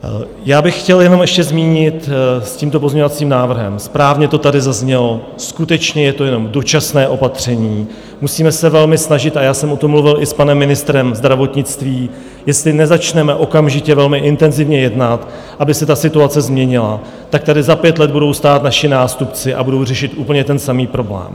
Já bych chtěl jenom ještě zmínit s tímto pozměňovacím návrhem, správně to tady zaznělo, skutečně je to jenom dočasné opatření, musíme se velmi snažit, a já jsem o tom mluvil i s panem ministrem zdravotnictví - jestli nezačneme okamžitě velmi intenzivně jednat, aby se ta situace změnila, tak tady za pět let budou stát naši nástupci a budou řešit úplně ten samý problém.